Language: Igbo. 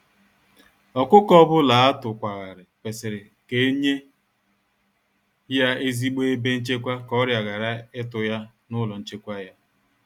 Ọkụkọ ọbula atukwa ghari, kwesịrị ka enye ya ezigbo ebe nchekwa ka ọrià ghara ịtụ ya n'ụlọ nchekwa ya.